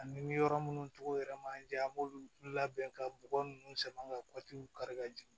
Ani yɔrɔ munnu tɔgɔ yɛrɛ man jan an b'olu labɛn ka bɔgɔ ninnu sama ka kari ka jigin